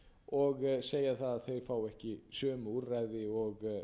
og segja að þeir fái ekki sömu úrræði og